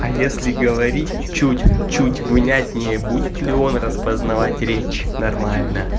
а если говорить чуть чуть внятнее будет ли он распознавать речь нормально